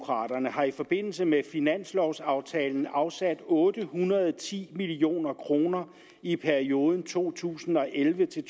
har i forbindelse med finanslovaftalen afsat otte hundrede og ti million kroner i perioden to tusind og elleve til